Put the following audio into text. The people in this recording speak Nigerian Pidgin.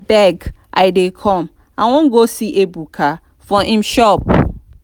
abeg i dey come i wan go see ebuka for im shop